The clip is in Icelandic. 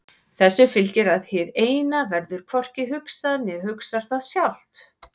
Þessu fylgir að hið Eina verður hvorki hugsað né hugsar það sjálft.